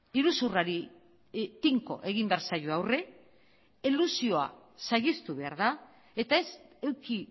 iruzurrari tinko egin behar zaio aurre elusioa saihestu behar da eta ez eduki